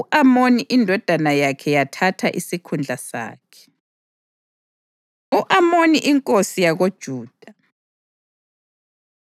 U-Amoni indodana yakhe yathatha isikhundla sakhe. U-Amoni Inkosi YakoJuda